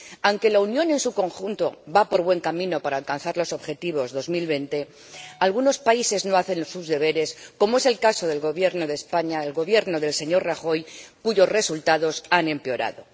Aunque la Unión en su conjunto va por buen camino para alcanzar los objetivos de 2020, algunos países no hacen sus deberes, como es el caso del Gobierno de España, el Gobierno del señor Rajoy, cuyos resultados han empeorado.